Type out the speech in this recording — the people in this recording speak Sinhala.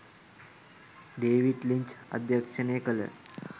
ඬේවිඞ් ලින්ච් අධ්‍යක්ෂණය කළ